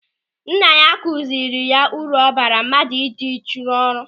Nna ya kụziri ya uru ọ bara mmadụ ịdị uchu n'ọrụ.